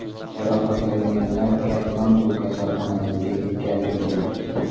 Jarohatlanganlar Katmandu kasalxonasiga yetkazilgan.